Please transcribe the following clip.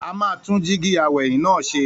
A máa tún jíígi aw'ẹ̀yìn náà ṣe.